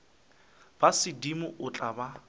ba sedimo o tla ba